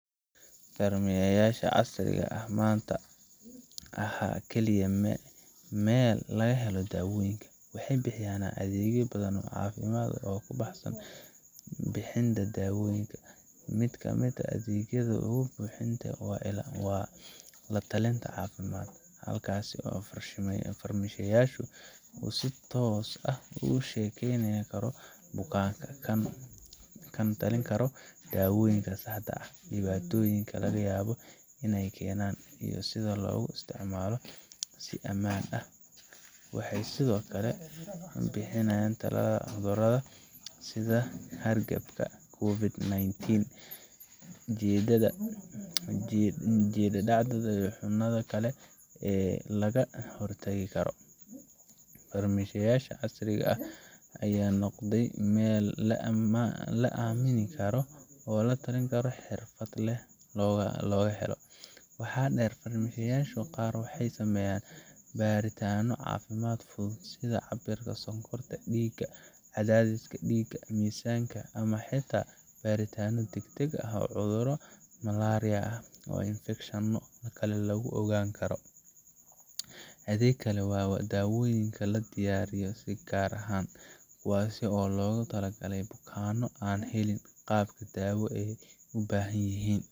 Farmasiyeyaasha casriga ah maanta ma aha kaliya meel laga helo dawooyin waxay bixiyaan adeegyo badan oo caafimaad oo ka baxsan bixinta daawooyinka. Mid ka mid ah adeegyada ugu muhiimsan waa la talinta caafimaad, halkaas oo farmashiistaha uu si toos ah ula sheekeysan karo bukaanka, kana talin karo dawooyinka saxda ah, dhibaatooyinka laga yaabo in ay keenaan, iyo sida loogu isticmaalo si ammaan ah. Waxay sidoo kale bixiyaan tallaalka cudurrada sida hargabka, COVID-nineteen, jadeecada, iyo xanuunada kale ee laga hortagi karo. Farmasiyeyaasha casriga ah ayaa noqday meel la aamini karo oo tallaalka si xirfad leh looga helo. Waxaa intaa dheer, farmasiyada qaar waxay sameeyaan baaritaanno caafimaad fudud, sida cabbirka sonkorta dhiigga, cadaadiska dhiigga, miisaanka, ama xitaa baaritaanno degdeg ah oo cudurro sida malaria ama infekshanno kale lagu ogaan karo. Adeeg kale waa dawooyin la diyaariyo si gaar ah, kuwaas oo loogu talagalay bukaanno aan helin qaabka dawo ee ay u baahan yihiin